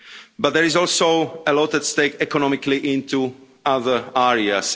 But there is also a lot at stake economically in other areas.